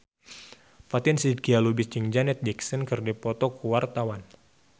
Fatin Shidqia Lubis jeung Janet Jackson keur dipoto ku wartawan